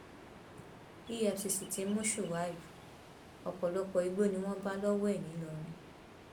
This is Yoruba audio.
efcc ti mú shuaib ọpọlọpọ igbó ni wọn bá lọwọ ẹ nìlọrin